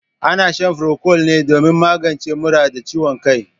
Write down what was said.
Ana shan furokwal ne domin magance mura da ciwon kai.